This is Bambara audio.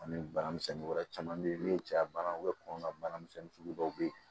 Ani bana misɛnnin wɛrɛ caman bɛ yen n'o ye cɛya banaw ye kɔngɔ bana misɛnnin sugu dɔw bɛ yen